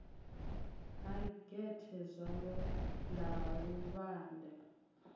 ha gethe zwalo ḽa luvhanḓe